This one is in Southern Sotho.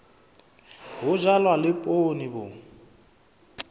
ho jalwa le poone bo